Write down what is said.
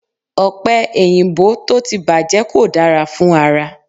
Ọ̀pẹ èyìǹbó tó ti bàjẹ́ kò dára fún ara